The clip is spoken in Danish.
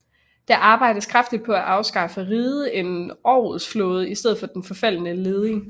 Der arbejdedes kraftigt på at skaffe riget en orlogsflåde i stedet for den forfaldne leding